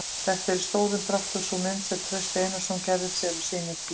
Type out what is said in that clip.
Þetta er í stórum dráttum sú mynd sem Trausti Einarsson gerði sér á sínum tíma.